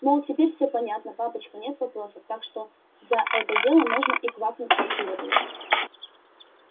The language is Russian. мол теперь всё понятно папочка нет вопросов так что за это дело можно и квакнуть как следует